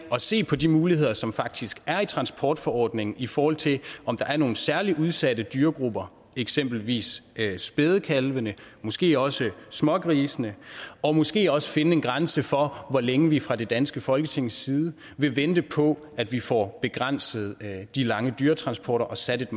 at se på de muligheder som der faktisk er i transportforordningen i forhold til om der er nogen særlig udsatte dyregrupper eksempelvis spædekalvene måske også smågrisene og måske også finde en grænse for hvor længe vi fra det danske folketings side vil vente på at vi får begrænset de lange dyretransporter og sat et